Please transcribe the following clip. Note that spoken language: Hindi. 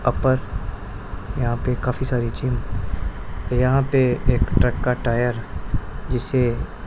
अपर यहां पे काफी सारी चीज यहां पे एक ट्रक का टायर जिसे--